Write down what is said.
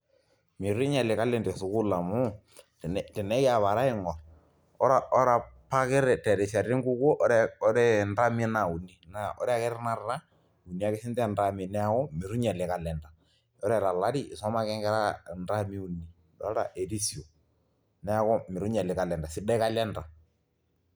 Itu inyiali kalenda esukuul amu tenekiapare aing'orr ore apa ake terishat enkukuo ore ntermi naa uni ore ake tanakata uni ake siinche intermi neeku itu inyiali kalenda, ore tolari isuma ake nkera intermi uni dolta erisio neeku itu inyiali kalenda sidai kalenda.